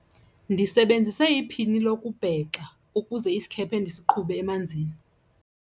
Ndisebenzise iphini lokubhexa ukuze isikhephe ndisiqhube emanzini.